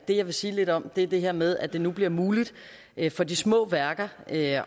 det jeg vil sige lidt om er det her med at det nu bliver muligt for de små værker at